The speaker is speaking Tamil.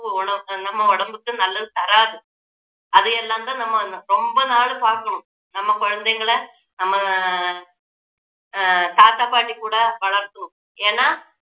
உண~ நம்ம உடம்புக்கு நல்லது தராது அதையெல்லாம் தான் நம்ம ரொம்ப நாள் பாக்கணும் நம்ம குழந்தைங்களை நம்ம அஹ் ஆஹ் தாத்தா பாட்டி கூட வளர்க்கணும் ஏன்னா